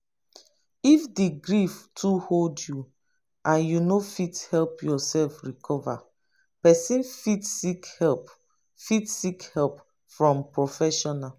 if di grief too hold you and you no fit help yourself recover person fit seek help fit seek help from professional